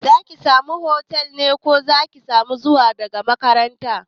Za ki samu hostel ne ko Zaki na zuwa daga makaranta?